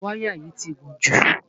Wáyà yìí ti gùn jù.